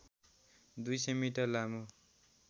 २०० metre लामो